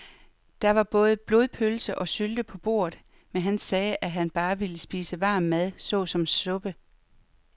Der var både blodpølse og sylte på bordet, men han sagde, at han bare ville spise varm mad såsom suppe.